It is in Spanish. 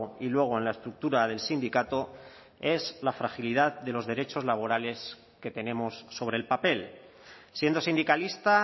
y luego en la estructura del sindicato es la fragilidad de los derechos laborales que tenemos sobre el papel siendo sindicalista